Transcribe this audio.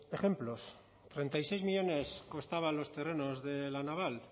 ejemplos treinta y seis millónes costaban los terrenos de la naval